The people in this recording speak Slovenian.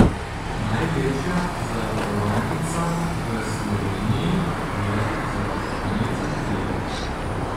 Največja zavarovalnica v Sloveniji je Zavarovalnica Triglav.